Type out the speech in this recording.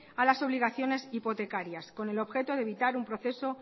a las obligaciones hipotecarias con el objeto de evitar un proceso